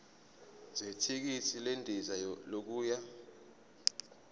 zethikithi lendiza yokuya